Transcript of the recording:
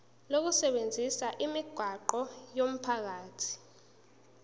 lokusebenzisa imigwaqo yomphakathi